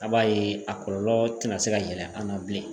A b'a ye a kɔlɔlɔ tɛna se ka yɛlɛ an na bilen